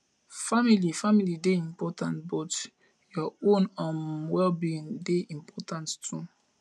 family family dey important but your own um wellbeing dey important too